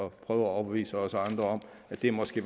at prøve at overbevise også andre om at det måske